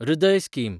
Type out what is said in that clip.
हृदय स्कीम